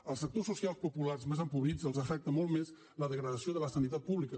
als sectors socials populars més empobrits els afecta molt més la degradació de la sanitat pública